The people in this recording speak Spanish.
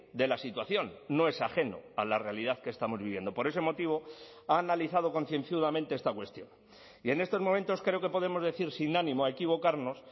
de la situación no es ajeno a la realidad que estamos viviendo por ese motivo ha analizado concienzudamente esta cuestión y en estos momentos creo que podemos decir sin ánimo a equivocarnos